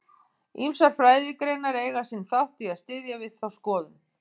Ýmsar fræðigreinar eiga sinn þátt í að styðja við þá skoðun.